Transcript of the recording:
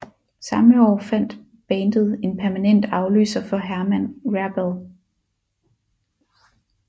Samme år fandt bandet en permanent afløser for Herman Rarebell